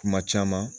Kuma caman